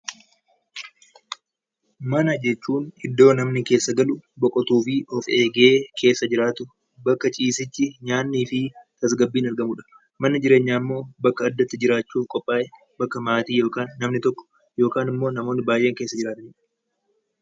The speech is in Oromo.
Mana jechuun iddoo namni keessa galu, boqotuufi of eegee keessa jiraatu bakka ciisichi, nyaanni fi tasgabbiin argamudha. Manni jireenyaa immoo bakka addatti jiraachuuf qophaa'e, bakka maatii yookaan namni tokko yookaan immoo namoonni baayeen keessa jiraatanidha.